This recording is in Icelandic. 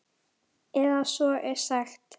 Eða svo er sagt.